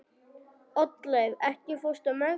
Oddleif, ekki fórstu með þeim?